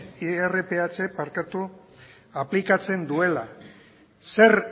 irph aplikatzen duela zer